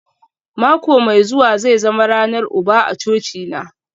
Mako mai zuwa zai zama ranar uba a cocina